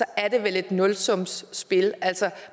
er det vel et nulsumsspil altså